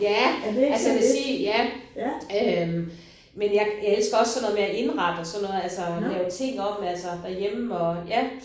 Ja altså jeg vil sige ja øh men jeg jeg elsker også sådan noget med at indrette og sådan noget altså lave ting om altså derhjemme og ja